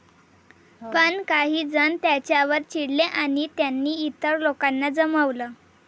पण काही जण त्यांच्यावर चिडले आणि त्यांनी इतर लोकांना जमवलं.